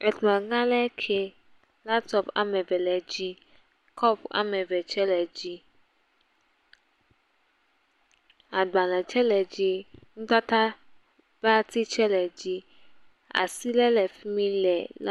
Ekplɔ̃ ga aɖe ke. Laptɔp ame eve le dzi. Kɔp ame ve tsɛ le dzi. Agbalẽ tsɛ le dzi. Nutata ƒve ati tsɛ le dzi. Asi ɖe le fi mi le…